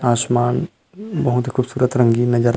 आसमान बहुत ही खूबसूरत रंगीन नज़र--